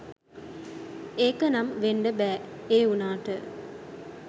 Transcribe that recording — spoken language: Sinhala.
ඒකනම් වෙන්ඩ බෑඒ වුණාට